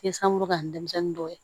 Ye san mugan ni dɛnmisɛnnin dɔw ye